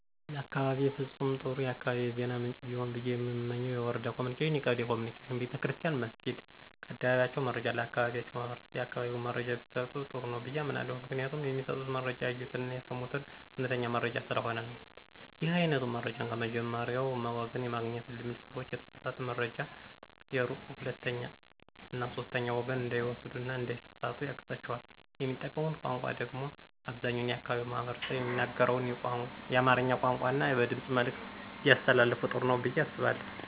ለአካባቢየ ፍጹም ጥሩ የአካባቢ የዜና ምንጭ ቢሆን ብየ የምመኘው የወረዳ ኮምኒኬሽን፣ የቀበሌ ኮምኒኬሽን፣ ቤተክርስትያን መስኪድ ከአደባባያቸው መረጃ ለአካባቢያቸው ማህበረሰብ የአካባቢውን መረጃ ቢሰጡ ጥሩ ነው ብየ አምናለሁ። ምክንያቱም የሚሰጡት መረጃ ያዩትን አና የሰሙትን አዉነተኛ መረጃ ስለሆነ ነው። ይህ አይነቱ መረጃን ከመጀመሪያዉ ወገን የማግኘት ልምድ ሰዎችን የተሳሳተ መረጃ ከሩቅ ከሁለተኛ እና ከሶስተኛ ወገን እንዳይወስዱ እና እንዳይሳሰሳቱ ያግዛቸዋል። የሚጠቀሙት ቋንቋ ደግሞ አብዛኛው የአካባቢው ማህበረሰብ የሚናገረውን የአማርኛ ቋንቋን እና በድምጽ መልዕክት ቢያስተላልፋ ጥሩ ነው ብየ አስባለሁ።